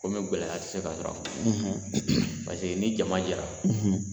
Komi gɛlɛya tɛ se ka sɔrɔ a kɔnɔ paseke ni jama ye ra